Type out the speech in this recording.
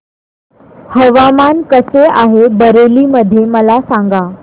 हवामान कसे आहे बरेली मध्ये मला सांगा